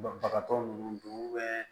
Banabagatɔ ninnu don